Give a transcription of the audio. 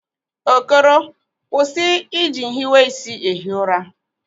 Okoro, kwụsị ịji nhiweisi ehi ụra!